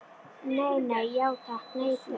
Nei, nei, já takk, nei, bless.